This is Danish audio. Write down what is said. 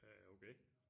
Øh okay